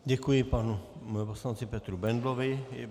Děkuji panu poslanci Petru Bendlovi.